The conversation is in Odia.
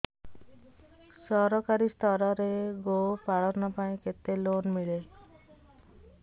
ସରକାରୀ ସ୍ତରରେ ଗୋ ପାଳନ ପାଇଁ କେତେ ଲୋନ୍ ମିଳେ